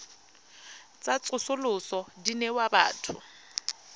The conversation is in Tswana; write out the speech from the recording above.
tsa tsosoloso di newa batho